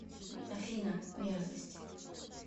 афина мерзость